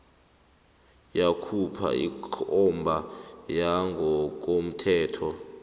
yakhupha ikomba yangokomthetho